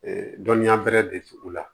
dɔnniya bɛrɛ de t'u la